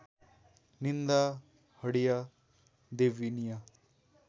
निन्दा हडिया देवनिया